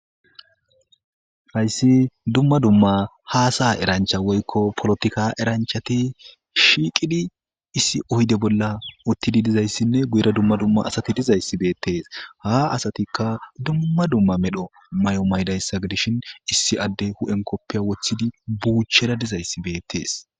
Hayssi dumma dumma hasa'a erancha woykko polotika eranchati shiiqidi issi oyde bolla uttidi dizayssinne guyera dumma dumma asati dizayssi beetees ha asatikka dumma dumma medho mayo mayidayssa gidishin issi addey hu'en kopiya wothidi buuchera dizayssi beetees.